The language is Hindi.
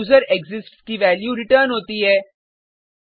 फिर यूजरेक्सिस्ट्स की वैल्यू रिटर्न होती है